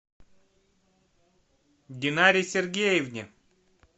динаре сергеевне